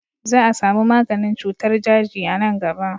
Za a sami maganin cutar daji a nan gaba.